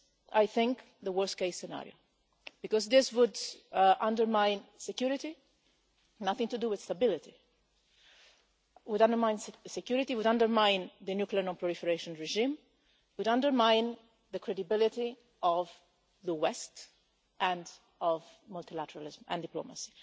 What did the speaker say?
I think this is the worst case scenario because this would undermine security nothing to do with stability and would undermine the nuclear non-proliferation regime and the credibility of the West and of multilateralism and diplomacy.